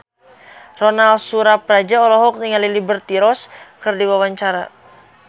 Ronal Surapradja olohok ningali Liberty Ross keur diwawancara